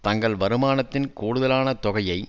தங்கள் வருமானத்தின் கூடுதலான தொகையை